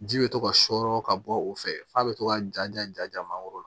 Ji bɛ to ka sɔɔrɔ ka bɔ o fɛ f'a bɛ to ka ja ja ja ja mangoro